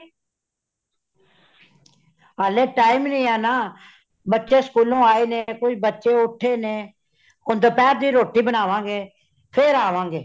ਹਾਲੇ time ਨਹੀਂ ਹੇ ਨਾ, ਬੱਚੇ school ਲੋ ਆਏ ਨੇ, ਕੁਛ ਬੱਚੇ ਉਠੇ ਨੇ, ਹੋਣ ਦੁਪਹਿਰ ਦੀ ਰੋਟੀ ਬਨਾਵਾਂਗੇ ਫੇਰ ਆਵਾ ਗੇ।